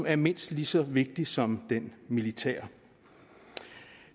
er mindst lige så vigtig som den militære